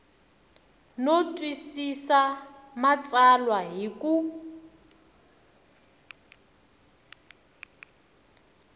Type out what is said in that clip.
no twisisa matsalwa hi ku